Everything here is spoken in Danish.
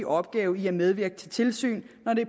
opgave i at medvirke til tilsyn når det